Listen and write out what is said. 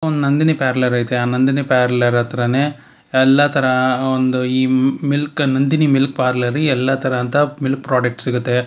ಒಂದ್ ನಂದಿನಿ ಪ್ಯಾರ್ಲರ್ ಐತೆ ಆ ನಂದಿನಿ ಪ್ಯಾರ್ಲರ್ ಹತ್ರಾನೇ ಎಲ್ಲಾ ತರಹ ಒಂದು ಈ ಮಿಲ್ಕ್ ನಂದಿನಿ ಮಿಲ್ಕ್ ಪಾರ್ಲರ್ ಎಲ್ಲಾ ತರಹದ ಮಿಲ್ಕ್ ಪ್ರಾಡಕ್ಟ್ ಸಿಗುತ್ತೆ.